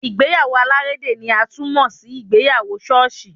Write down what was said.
Ìgbéyàwó alárédè ni a tún mọ sí ìgbéyàwó ṣọ́ọ̀ṣì.